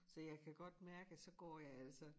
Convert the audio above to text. Så jeg kan godt mærke at så går jeg altså